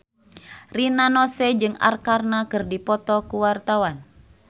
Rina Nose jeung Arkarna keur dipoto ku wartawan